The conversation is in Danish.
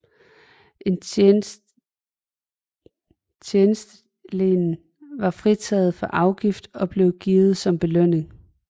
Et tjenestelen var fritaget for afgift og blev givet som belønning